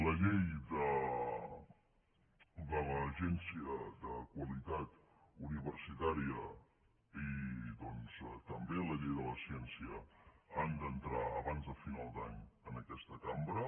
la llei de l’agència de qualitat universitària i doncs també la llei de la ciència han d’entrar abans de final d’any en aquesta cambra